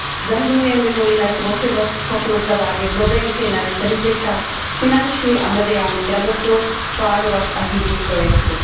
Zahrnuje mimo jiné tvořivost, schopnost zavádět novinky, nést rizika, finanční a mediální gramotnost, plánovat a řídit projekty.